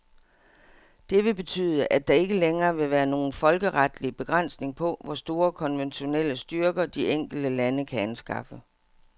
Det vil betyde, at der ikke længere vil være nogen folkeretlig begrænsning på, hvor store konventionelle styrker, de enkelte lande kan anskaffe.